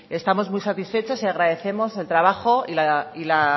estamos muy satisfechas y agradecemos el trabajo y la